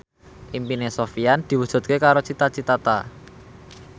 impine Sofyan diwujudke karo Cita Citata